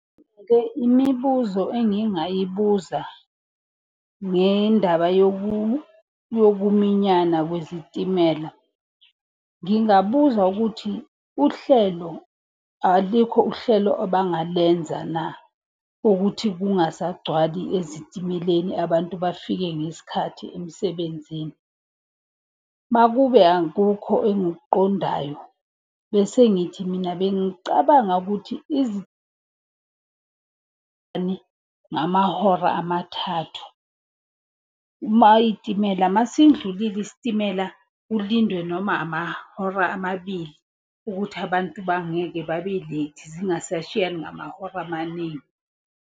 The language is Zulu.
imibuzo engingayibuza ngendaba yokuminyana kwezitimela. Ngingabuza ukuthi uhlelo, alikho uhlelo abangalenza na kuthi kungasagcwali ezitimeleni, abantu bafike ngesikhathi emsebenzini? Uma kube akukho engikuqondayo, bese ngithi mina bengicabanga ukuthi ngamahora amathathu. Uma iy'timela, uma sindlulile isitimela kulindwe noma amahora amabili ukuthi abantu bangeke babe late, zingasashiyani ngamahora amaningi.